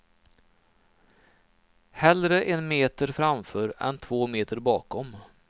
Hellre en meter framför än två meter bakom.